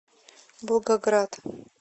волгоград